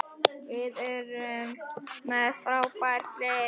Við erum með frábært lið.